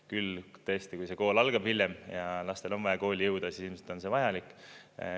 Küll tõesti, kui see kool algab hiljem ja lastel on vaja kooli jõuda, siis ilmselt on see vajalik.